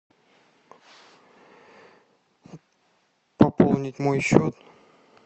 пополнить мой счет